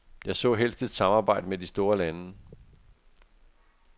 Jeg så helst et samarbejde med de store lande.